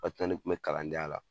Waati min na ne kun bɛ kalandenya la